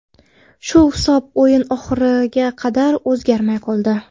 Shu hisob o‘yin oxiriga qadar o‘zgarmay qoldi.